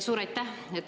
Suur aitäh!